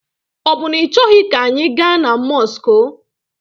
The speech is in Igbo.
Ọ bụ na ị chọghi ka anyị ga na mọsụkụ?